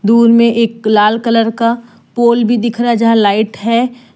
दूर में एक लाल कलर का पूल भी दिख रहा है यहां लाइट है।